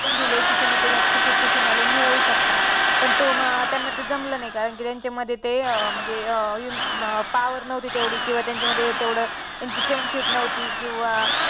पण दिले की तुम्ही त्याच्यात ticket to finale मिळवू शकता पण तो त्यांना ते जमलं नाही कारण की त्यांच्यामध्ये ते अं म्हणजे अं power नव्हती तेवढी किंवा त्यांच्यामध्ये तेवढं त्यांची friendship नव्हती किंवा